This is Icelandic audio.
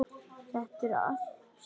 Þetta allt saman.